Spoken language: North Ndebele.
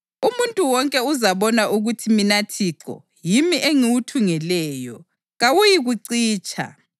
Umuntu wonke uzabona ukuthi mina Thixo yimi engiwuthungeleyo; kawuyikucitsha.’ ”